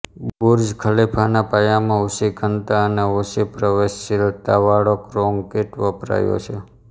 Burj ખલિફાના પાયામાં ઊંચી ઘનતા અને ઓછી પ્રવેશશીલતાવાળો કોન્ક્રીંટ વપરાયો છે